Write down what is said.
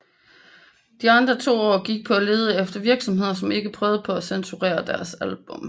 De andre to år gik på at lede efter virksomheder som ikke prøvede på at censurere deres album